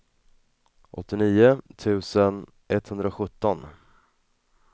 åttionio tusen etthundrasjutton